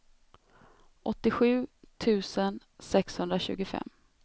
åttiosju tusen sexhundratjugofem